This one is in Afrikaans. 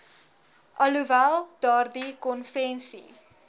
alhoewel daardie konvensie